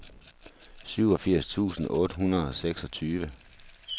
syvogfirs tusind otte hundrede og seksogtyve